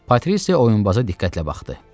Patrisiya oyunbaza diqqətlə baxdı.